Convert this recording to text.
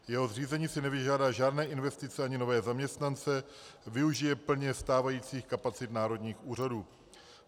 Jeho zřízení si nevyžádá žádné investice ani nové zaměstnance, využije plně stávajících kapacit národních úřadů.